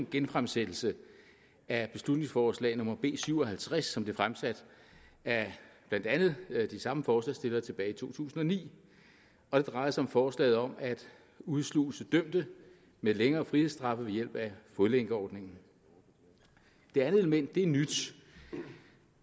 genfremsættelse af beslutningsforslag nummer b syv og halvtreds som blev fremsat af blandt andet de samme forslagsstillere tilbage i to tusind og ni og det drejer sig om forslaget om at udsluse dømte med længere frihedsstraffe ved hjælp af fodlænkeordningen det andet element er nyt og